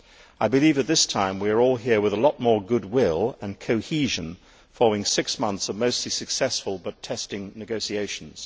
I believe that this time we are all here with a lot more goodwill and cohesion following six months of mostly successful but testing negotiations.